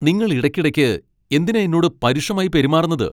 നിങ്ങൾ ഇടയ്ക്കിടയ്ക്ക് എന്തിനാ എന്നോട് പരുഷമായി പെരുമാറുന്നത്?